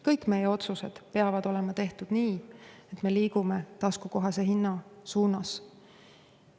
Kõik meie otsused peavad olema tehtud nii, et me liigume taskukohase hinna suunas.